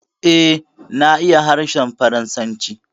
Eh, na iya harshen Faransanci